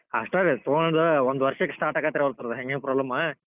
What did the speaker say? ಅಷ್ಟ್ ರೀ ತುಗೊಂಡ್ ಒಂದ್ ವರ್ಷಕ್ start ಅಕ್ಕೆತ್ರಿ hanging problem .